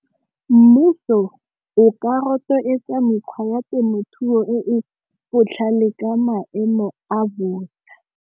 Mmuso o ka rotloetsa mekgwa ya temothuo e e botlhale ka maemo a .